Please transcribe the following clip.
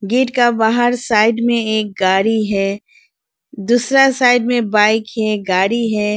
Gate का बाहर side में एक गाड़ी है दूसरा साइड में बाइक है गाड़ी है।